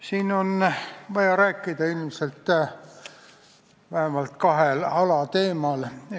Siin on vaja rääkida vähemalt kahel alateemal.